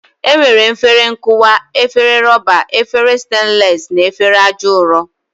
E nwere efere nkụwa, efere rọba, efere stenles na efere aja ụrọ.